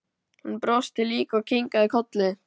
Hann brosti líka og kinkaði kolli.